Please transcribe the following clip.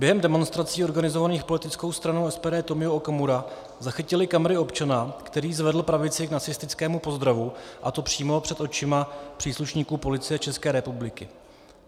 Během demonstrací organizovaných politickou stranou SPD Tomio Okamura zachytily kamery občana, který zvedl pravici k nacistickému pozdravu, a to přímo před očima příslušníků Policie České republiky.